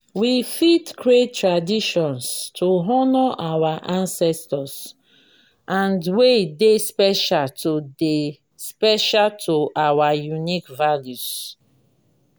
we fit create traditions to honor our ancestors and wey dey special to dey special to our unique values